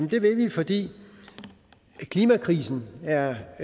det vil vi fordi klimakrisen er